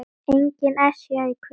Engin Esja í kvöld.